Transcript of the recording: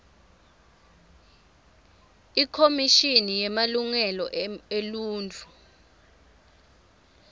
ikhomishini yemalungelo eluntfu